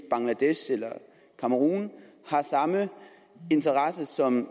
bangladesh og cameron har samme interesser som